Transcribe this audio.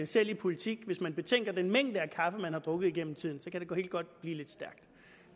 selv i politik hvis man betænker den mængde af kaffe man har drukket igennem tiden så kan det godt blive lidt stærkt